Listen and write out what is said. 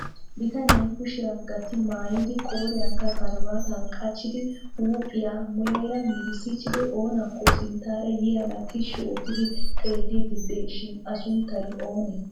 bitanee kushiyaa gatti maayyidi qooriyankka karibbaata qachchidi huuphiyaa muleera meeddissichchidi oonakko sinttaara yiyyaaga tishshi oottidi xeellidi de'ees shin a suntty oonee?